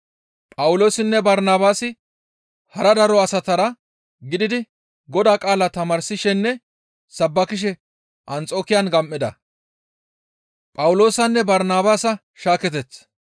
Phawuloosinne Barnabaasi hara daro asatara gididi Godaa qaalaa tamaarsishenne sabbakishe Anxokiyan gam7ida.